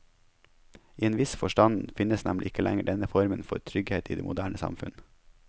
I en viss forstand finnes nemlig ikke lenger denne formen for trygghet i det moderne samfunn.